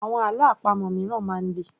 Àwọn àlọ́ àpamọ̀ míràn máa ń le